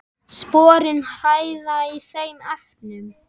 Sporin hræða í þeim efnum.